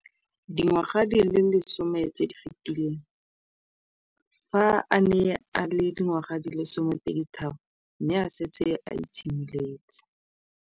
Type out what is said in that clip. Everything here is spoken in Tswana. Dingwaga di le 10 tse di fetileng, fa a ne a le dingwaga di le 23 mme a setse a itshimoletse.